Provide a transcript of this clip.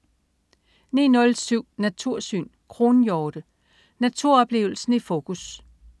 09.07 Natursyn. Kronhjorte. Naturoplevelsen i fokus